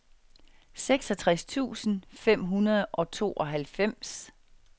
seksogtres tusind fem hundrede og tooghalvfems